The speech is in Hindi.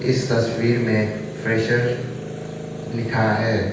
इस तस्वीर में फ्रेशर्स लिखा है।